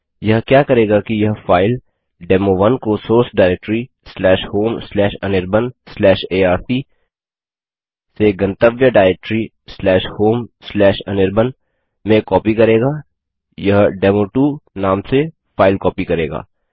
यह क्या करेगा कि यह फाइल डेमो1 को सोर्स डाइरेक्टरी homeanirbanarc से गंतव्य डाइरेक्टरी homeanirban में कॉपी करेगा यह डेमो2 नाम से फाइल कॉपी करेगा